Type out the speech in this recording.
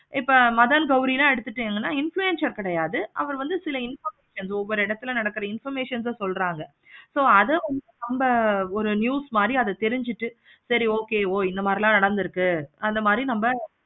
இப்ப madan gowri நா எடுத்துட்டாங்கன்னா influencer கிடையாது. அவரு வந்து சில ஒவ்வொரு இடத்துல நடக்குற information சொல்றாங்க. so அத அந்த news மாதிரி தெரிஞ்சிட்டு சரி okay ஓ இந்த மாதிரி எல்லாம் நடந்துருக்கு அந்த மாதிரி நாமே